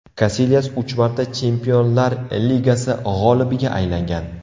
Kasilyas uch marta Chempionlar Ligasi g‘olibiga aylangan.